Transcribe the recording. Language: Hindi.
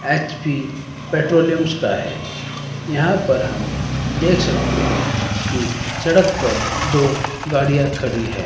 एच_पी पेट्रोलियम्स का है। यहां पर हम देख सकते हैं कि सड़क पर दो गाड़ियां खड़ी हैं।